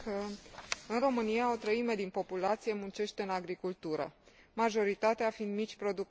În România, o treime din populație muncește în agricultură, majoritatea fiind mici producători.